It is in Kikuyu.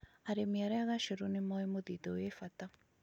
Arĩmi urĭ ugac̄ru nĩ moĩ mũthithũ wĩ bata.